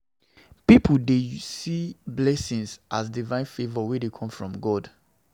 Pipo dey see blessing as divine favour wey dey come from God